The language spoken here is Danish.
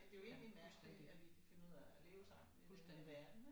Ja fuldstændig fuldstændig